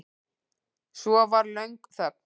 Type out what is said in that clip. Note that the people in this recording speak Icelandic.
Svo var löng þögn.